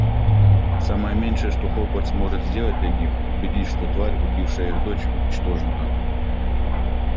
самое меньшее что хогвартс может сделать для них убедить что тварь убившая их дочь уничтожена